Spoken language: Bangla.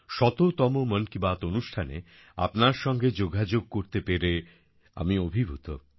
শততম মন কি বাত অনুষ্ঠানে আপনার সঙ্গে যোগাযোগ করতে পেরে আমি অভিভূত